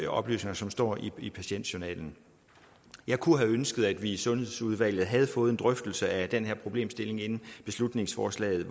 oplysninger som står i patientjournalen jeg kunne have ønsket at vi i sundhedsudvalget havde fået en drøftelse af den her problemstilling inden beslutningsforslaget